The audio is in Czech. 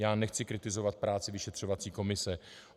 Já nechci kritizovat práci vyšetřovací komise.